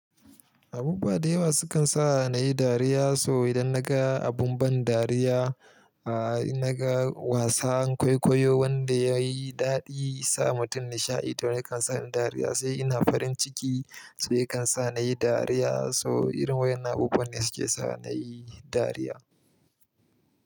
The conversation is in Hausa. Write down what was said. Abubuwa da yawa sukan sa ni dariya, so idan naga abun ban dariya, a in naga wasan kwaikwayo wanda yayi daɗi, sa mutum nishaɗi, to ya kan sa ni dariya, sai ina farin ciki, sai yakan sa nayi dariya. So irin wayanan abubuwan ne suke sa nayi dariya.